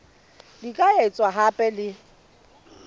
di ka etswa hape le